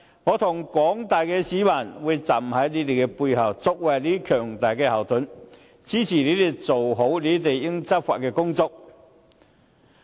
我和廣大市民會站在他們背後，作為他們的強大後盾，支持他們做好執法工作。